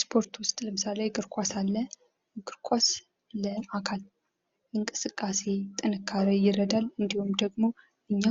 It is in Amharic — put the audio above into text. ስፖርት ዉስጥ ለምሳሌ እግር ኳስ አለ። እግር ኳስ ለአካል እንቅስቃሴ ጥንካሬ ይረዳን። እንዲሁም ደግሞ እኛ